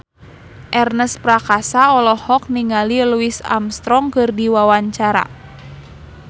Ernest Prakasa olohok ningali Louis Armstrong keur diwawancara